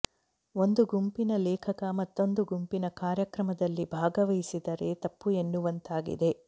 ಒಂದು ಗುಂಪಿನ ಲೇಖಕ ಮತ್ತೊಂದು ಗುಂಪಿನ ಕಾರ್ಯಕ್ರಮದಲ್ಲಿ ಭಾಗವಹಿಸಿದರೆ ತಪ್ಪು ಎನ್ನುವಂತಾಗಿದೆ